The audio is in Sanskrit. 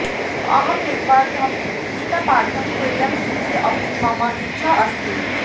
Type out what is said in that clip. अहं निर्बाधं गीतापाठं कुर्याम् इति अपि मम इच्छा अस्ति